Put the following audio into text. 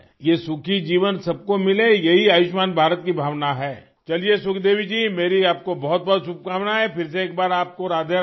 یہ خوشحال زندگی سب کو ملے یہی آیوشمان بھارت کا جذبہ ہے، چلئے سکھ دیوی جی میری جانب سے آپ کو بہت بہت مبارکباد، پھر سے ایک بار آپ کو رادھے